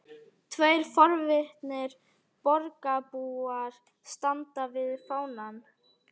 Tveir forvitnir borgarbúar standa við fánann.